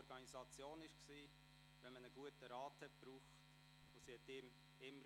Wenn man einen guten Rat brauchte, half sie einem immer.